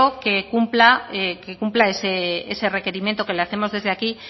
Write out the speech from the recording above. que cumpla ese requerimiento que le hacemos desde aquí